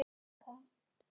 Fékk aldrei nein skýr svör.